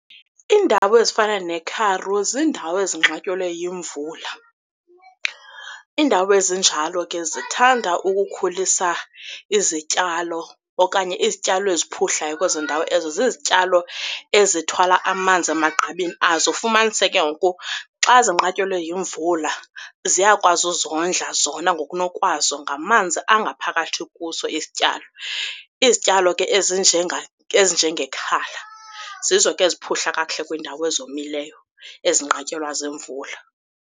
Iindawo ezifana neKharu zindawo ezinqatyelwe yimvula. Iindawo ezinjalo ke zithanda ukukhulisa izityalo okanye izityalo esiphuhlayo kwezo ndawo ezo, zizityalo ezithwala amanzi emagqabini azo, fumanise ke ngoku xa zinqatyelwe yimvula ziyakwazi uzondla zona ngokunokwazo ngamanzi angaphakathi kuso isityalo. Izityalo ke ezinjengekhala zizo ke eziphuhla kakuhle kwiindawo ezomileyo ezinqatyelwa ziimvula.